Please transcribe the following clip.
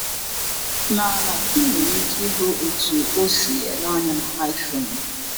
N’ala, ị nwere ike ịhụ otú o si ele anya na iPhone: